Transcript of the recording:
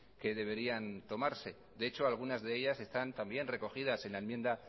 que deberían tomarse de hecho algunas de ellas están también recogidas en la enmienda